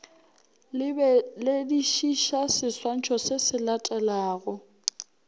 lebeledišiša seswantšho se se latelago